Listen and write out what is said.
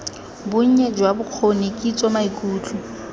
bonnye jwa bokgoni kitso maikutlo